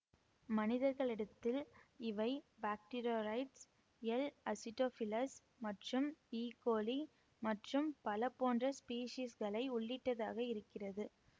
மனிதர்களிடத்தில் இவை bacteroides L acidophilus மற்றும் E coli மற்றும் பல போன்ற ஸ்பீஸிஸ்களை உள்ளிட்டதாக இருக்கிறது